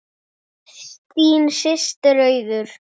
Þín systir Auður.